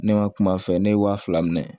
Ne ma kum'a fɛ ne ye wa fila minɛ